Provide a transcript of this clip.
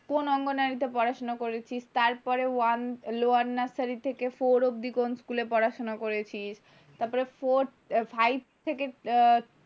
কোন অঙ্গনারীতে পড়াশোনা করেছিস। তারপরে ওয়ান লোয়ার নার্সারি থেকে ফোর অব্দি কোন স্কুলে পড়াশোনা করেছিস। তারপরে ফোর্থ ফাইভ থেকে,